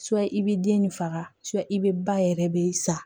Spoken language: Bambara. i bɛ den ni faga i bɛ ba yɛrɛ de sa